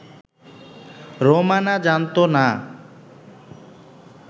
রোমানা জানতো না